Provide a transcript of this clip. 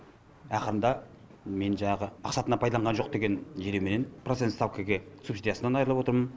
ақырында мен жаңағы мақсатына пайдаланған жоқ деген желеуменен процент ставкіге субсидиясынан айырылып отырмын